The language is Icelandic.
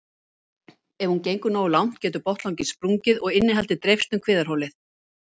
Ef hún gengur nógu langt getur botnlanginn sprungið og innihaldið dreifst um kviðarholið.